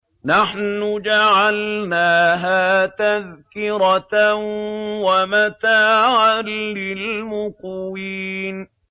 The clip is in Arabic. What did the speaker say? نَحْنُ جَعَلْنَاهَا تَذْكِرَةً وَمَتَاعًا لِّلْمُقْوِينَ